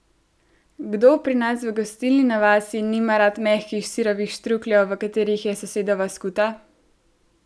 Kdo pri nas v gostilni na vasi nima rad mehkih sirovih štrukljev, v katerih je sosedova skuta?